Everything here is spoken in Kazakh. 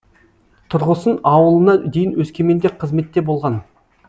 тұрғысын ауылына дейін өскеменде қызметте болған